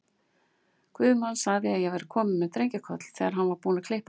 Guðmann sagði að ég væri komin með drengjakoll, þegar hann var búinn að klippa mig.